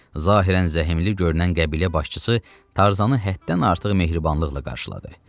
Zahirən zəhmli görünən qəbilə başçısı Tarzanı həddən artıq mehribanlıqla qarşıladı.